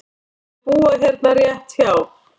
Þau búa hérna rétt hjá.